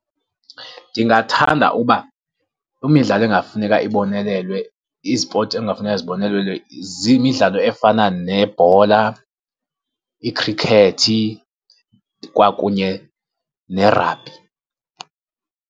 Ndingathanda ukuba imidlalo engafuneka ibonelelwe, izipoti ekungafuneka zibonelelwe ziyimidlalo efana nebhola, ikhrikhethi kwakunye ne-rugby.